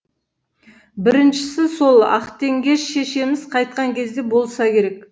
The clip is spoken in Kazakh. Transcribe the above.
біріншісі сол ақтеңгеш шешеміз қайтқан кезде болса керек